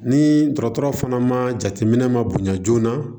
Ni dɔgɔtɔrɔ fana ma jateminɛ ma bonya joona